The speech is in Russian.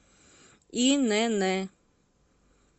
инн